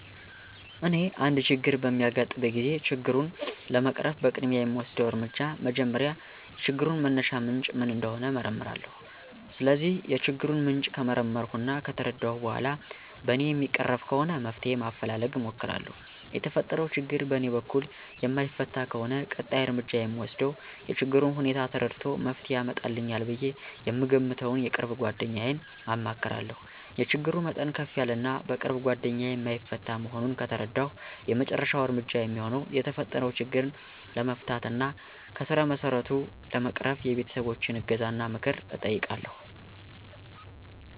እኔ አንድ ችግር በሚያጋጥመኝ ጊዜ ችግሩን ለመቅረፍ በቅድሚያ የምወስደው እርምጃ መጀመሪያ የችግሩን መነሻ ምንጭ ምን እንደሆነ እመረምራለሁ። ስለዚህ የችግሩን ምንጭ ከመረመርሁ እና ከተረዳሁ በኋላ በእኔ የሚቀረፍ ከሆነ መፍትሄ ማፈላለግ እሞክራለሁ። የተፈጠረው ችግር በእኔ በኩል የማይፈታ ከሆነ ቀጣይ እርምጃ የምወስደው የችግሩን ሁኔታ ተረድቶ መፍትሄ ያመጣልኛል ብዬ የምገምተውን የቅርብ ጓደኛዬን አማክራለሁ። የችግሩ መጠን ከፍ ያለ እና በቅርብ ጓደኛዬ የማይፈታ መሆኑን ከተረዳሁ የመጨረሻው እርምጃ የሚሆነው የተፈጠረው ችግር ለመፍታት እና ከስረመሰረቱ ለመቅረፍ የቤተሰቦቸን እገዛና ምክር እጠይቃለሁ።